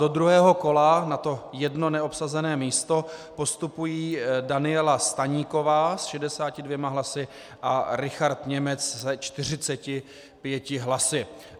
Do druhého kola na to jedno neobsazené místo postupují Daniela Staníková s 62 hlasy a Richard Němec se 45 hlasy.